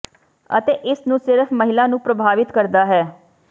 ਅਤੇ ਇਸ ਨੂੰ ਸਿਰਫ ਮਹਿਲਾ ਨੂੰ ਪ੍ਰਭਾਵਿਤ ਕਰਦਾ ਹੈ